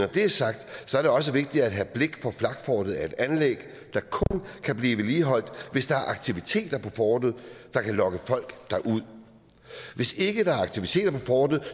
det er sagt er det også vigtigt at have blik for at flakfortet er et anlæg der kun kan blive vedligeholdt hvis der er aktiviteter på fortet der kan lokke folk derud hvis ikke der er aktiviteter på fortet